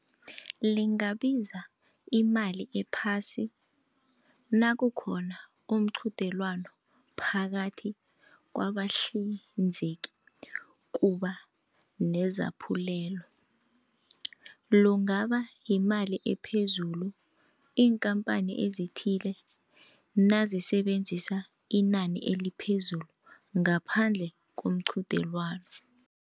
Lingabiza imali ephasi nakukhona umqudelwano phakathi kwabahlinzeki kuba nezaphulelo. Kungaba yimali ephezulu iinkampani ezithile nazisebenzisa inani eliphezulu ngaphandle komqudelwano.